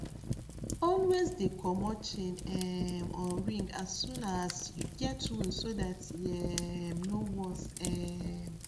always dey comot chain um or ring as soon ass you get wound so that e um no worse um